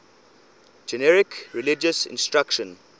generic religious instruction